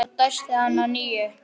Svo dæsti hann að nýju.